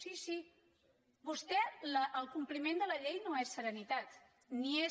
sí sí el compliment de la llei no és serenitat ni és